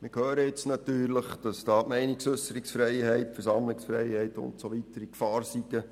Wir hören, dass die Meinungsäusserungsfreiheit, die Versammlungsfreiheit und so weiter in Gefahr seien.